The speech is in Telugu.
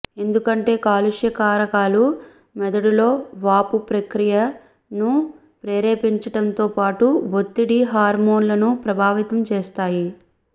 ఎందుకంటే కాలుష్య కారకాలు మెదడులో వాపు ప్రక్రియను ప్రేరేపించటంతో పాటు ఒత్తిడి హార్మోన్లనూ ప్రభావితం చేస్తాయి